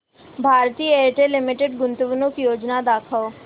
Bharti Airtel limited गुंतवणूक योजना दाखव